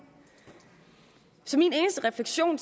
så min eneste refleksion